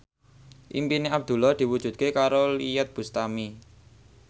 impine Abdullah diwujudke karo Iyeth Bustami